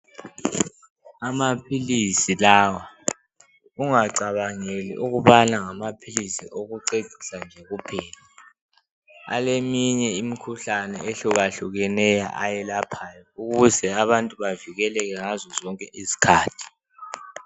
Amaphilisi lawa ungacabangeli ukubana ngamaphilisi okucecisa nje kuphela aleminye imikhuhlane ehlukahlukeneyo ayelaphayo ukuze abantu bavikeleke ngazo zonke izikhathi.